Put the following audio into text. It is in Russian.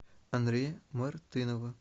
андрея мартынова